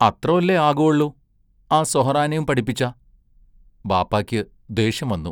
അത്രോല്ലേ ആകുവൊള്ളു ആ സൊഹറാനേം പടിപ്പിച്ചാ ബാപ്പായ്ക്ക് ദേഷ്യം വന്നു.